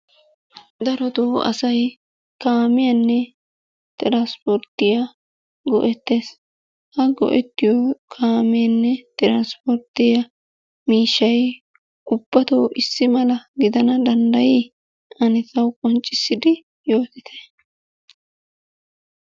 Darottoo asay kaamiyanne trspporttiyaa go'ettees. Ha go'ettiyo kaameenne trspporttiyaa miishshay ubbatoo issi mala gidana danddayi? Ane tawu qonccissidi yottite.